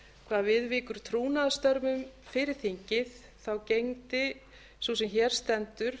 hvað viðvíkur trúnaðarstörfum fyrir þingið gegndi sú sem hér stendur